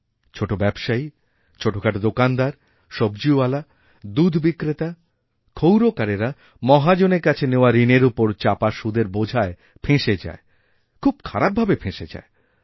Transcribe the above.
ছোটোব্যবসায়ী ছোটোখাটো দোকানদার সব্জীওয়ালা দুধ বিক্রেতা ক্ষৌরকারেরা মহাজনের কাছেনেওয়া ঋণের ওপর চাপা সুদের বোঝায় ফেঁসে যায় খুব খারাপ ভাবে ফেঁসে যায়